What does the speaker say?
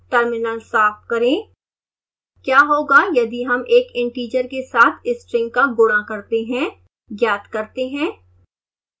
terminal साफ करें